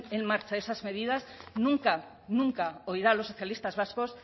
en marcha esas medidas nunca nunca oirá a los socialistas vascos